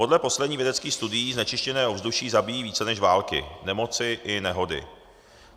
Podle posledních vědeckých studií znečištěné ovzduší zabíjí více než války, nemoci i nehody.